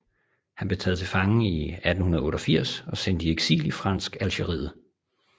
Han blev taget til fange i 1888 og sendt i eksil i Fransk Algeriet